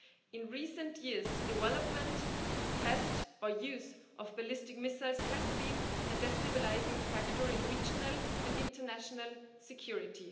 In recent years, the development, test or use of ballistic missiles has been a destabilising factor in regional and international security.